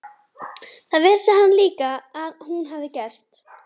Það vissi hann líka að hún hafði gert.